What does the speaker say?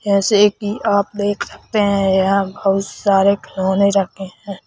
जैसे कि आप देख सकते हैं यहां बहुत सारे खिलौने रखे हैं।